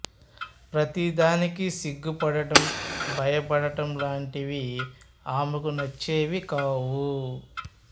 ప్రతి దానికి సిగ్గుపడటం భయపడటం లాంటివి ఆమెకు నచ్చేవి కావు